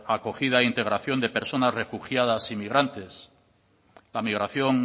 la acogida integración de personas refugiadas y migrantes la migración